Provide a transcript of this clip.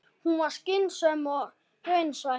Hún var skynsöm og raunsæ.